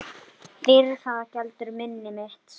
Fyrir það geldur minni mitt.